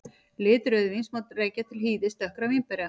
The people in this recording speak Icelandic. Lit rauðvíns má rekja til hýðis dökkra vínberja.